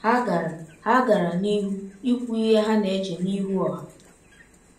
Ha gara Ha gara n’ihu ikwu ihe ha na-eche n’ihu ọha.